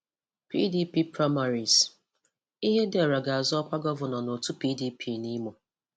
PDP Primaries: Ihedioha ga-azọ ọ́kwá gọvanọ n'otú PDP n'Imo